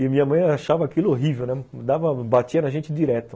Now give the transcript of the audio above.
E minha mãe achava aquilo horrível, né, dava, batia na gente direto.